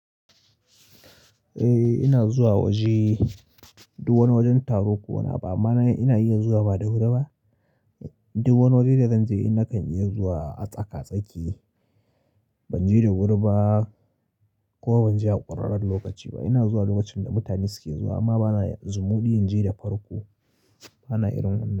Eh ina zuwa waje, duk wani wajen taro ko wani abu amma na ina iya zuwa ba da wuri ba. Duk wani waje da zan je in nakan iya zuwa a tsaka tsaki. Ban je da wuri ba ko ban je a ƙurarren lokaci ba. Ina zuwa lokacin da mutane suke zuwa amma bana zumuɗi in je da farko. Bana irin wannan.